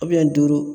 duuru